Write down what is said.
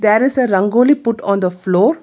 There is a rangoli put on the floor.